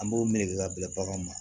An b'o meleke ka bila baganw ma